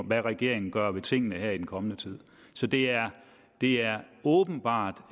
hvad regeringen gør ved tingene her i den kommende tid så det er er åbenbart